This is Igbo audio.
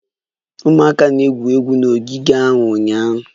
Ụmụaka na-egwuri egwu n'ogige ahụ ụnyaahụ